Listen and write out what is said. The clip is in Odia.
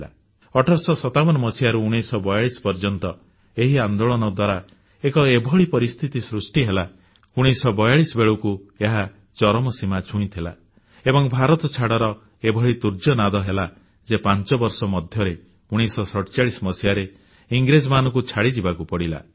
1857ରୁ 1942 ପର୍ଯ୍ୟନ୍ତ ଏହି ଆନ୍ଦୋଳନ ଦ୍ୱାରା ଏକ ଏଭଳି ପରିସ୍ଥିତି ସୃଷ୍ଟି ହେଲା 1942 ବେଳକୁ ଏହା ଚରମସୀମାକୁ ଛୁଇଁଗଲା ଏବଂ ଭାରତଛାଡ଼ର ଏଭଳି ତୁର୍ଯ୍ୟନାଦ ହେଲା ଯେ 5 ବର୍ଷ ଭିତରେ 1947 ମସିହାରେ ଇଂରେଜମାନଙ୍କୁ ଛାଡ଼ିଯିବାକୁ ପଡ଼ିଲା